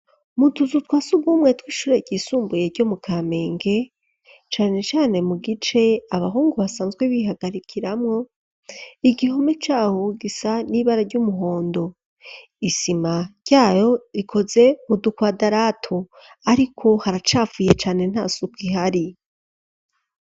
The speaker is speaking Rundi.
Mu tuzu twasugumwe twishure gisumbuye ryo mu Kamenge .Cane cane mu gice abahungu basanzwe bihagarikiramo igihome caho gisa n'ibara ry'umuhondo isima ryayo ikoze mu dukwadaratu ariko haracapfuye cane ntasuku ihari.